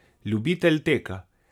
Ljubitelj teka.